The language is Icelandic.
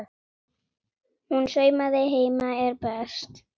Hún saumaði heima er best.